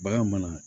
Bagan mana